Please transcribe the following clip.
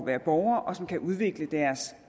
være borger og som kan udvikle deres